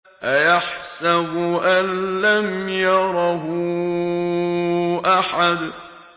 أَيَحْسَبُ أَن لَّمْ يَرَهُ أَحَدٌ